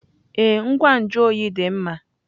Ee, ngwa nju oyi dị mma.